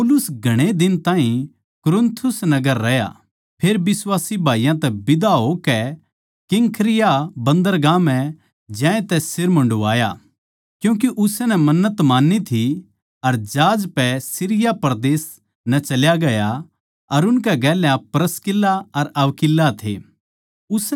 पौलुस घणे दिन ताहीं कुरिन्थुस नगर रहया फेर बिश्वासी भाईयाँ तै बिदा होकै किंख्रिया बन्‍दरगाह म्ह ज्यांतै सिर मुण्डाया क्यूँके उसनै मन्नत मान्नी थी अर जहाज पै सीरिया परदेस नै चल्या गया अर उसकै गेल्या प्रिसकिल्ला अर अक्विला थे